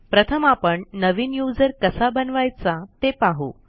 प्रथम आपण नवीन यूझर कसा बनवायचा ते पाहू